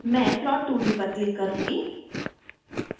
मैं प्लॉट2d पर क्लिक करुँगी